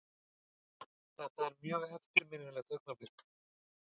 Þetta er mjög eftirminnilegt augnablik.